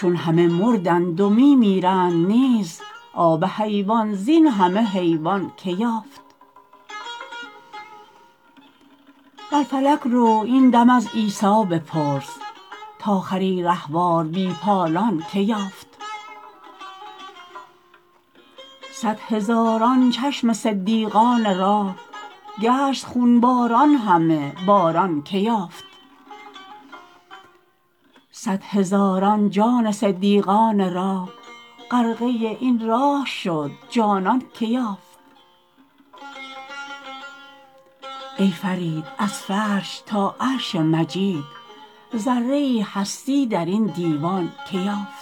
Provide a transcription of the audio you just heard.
چون همه مردند و می میرند نیز آب حیوان زین همه حیوان که یافت بر فلک رو این دم از عیسی بپرس تا خری رهوار بی پالان که یافت صد هزاران چشم صدیقان راه گشت خون باران همه باران که یافت صد هزاران جان صدیقان راه غرقه این راه شد جانان که یافت ای فرید از فرش تا عرش مجید ذره ای هستی درین دیوان که یافت